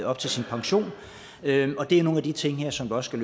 op til sin pension det er nogle af de ting her som også